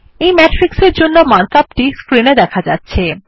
এই ম্যাট্রিক্স এর জন্য মার্ক আপ টি স্ক্রিন এ দেখা যাচ্ছে